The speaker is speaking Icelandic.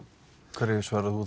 hverju svarar þú